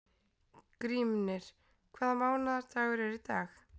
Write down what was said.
Grímnir, hvaða mánaðardagur er í dag?